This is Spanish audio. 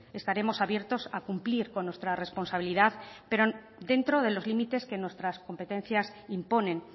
estaremos abiertos a cumplir con nuestra responsabilidad pero dentro de los límites que nuestras competencias imponen